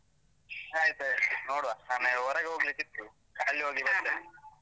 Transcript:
ಆಯ್ತಾಯ್ತು. ನೋಡುವ, ನನಗೆ ಹೊರಗೆ ಹೋಗ್ಲಿಕ್ಕಿತ್ತು. ಅಲ್ಲಿ ಹೋಗಿ ಬರ್ತೇನೆ.